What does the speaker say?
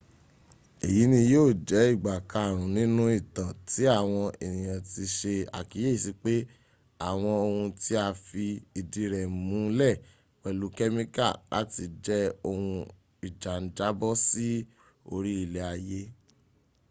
eyi ni yio je igba karun ninu itan ti awon eniyan ti se akiyesi pe awon oun ti a fi idi re mu le pelu kemica lati je ohun ija n jabo si ori ile aye